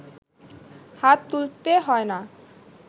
হাত তুলতে হয় না